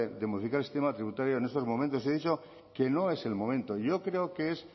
de modificar el sistema tributario en estos momentos he dicho que no es el momento yo creo que es